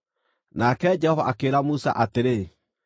Nake Jehova akĩĩra Musa atĩrĩ,